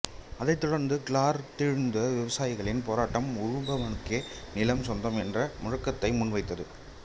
அதைத் தொடர்ந்து கிளர்ந்தெழுந்த விவசாயிகளின் போராட்டம் உழுபவனுக்கே நிலம் சொந்தம் என்ற முழக்கத்தை முன்வைத்து